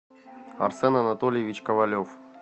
арсен анатольевич ковалев